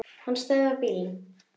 Hann stöðvar bílinn.